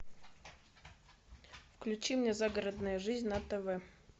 включи мне загородная жизнь на тв